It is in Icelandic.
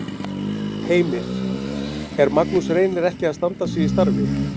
Heimir: Er Magnús Reynir ekki að standa sig í starfi?